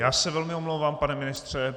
Já se velmi omlouvám, pane ministře.